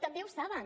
també ho saben